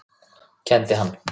Kenndi hann